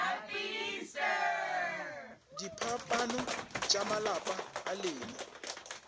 diphapano tša malapa a lena